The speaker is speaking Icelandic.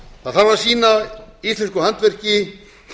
að það þarf að sýna íslensku handverki